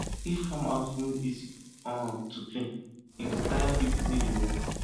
if farm house no easy um to clean e clean e go tire people wey dey work